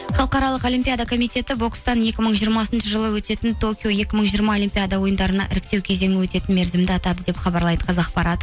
халықаралық олимпиада коммитеті бокстан екі мың жиырмасыншы жылы өтетін токио екі мың жиырма олимпиада ойындарына іріктеу кезеңі өтетін мерзімді атады деп хабарлайды қазақпарат